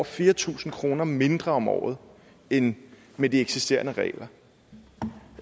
fire tusind kroner mindre om året end med de eksisterende regler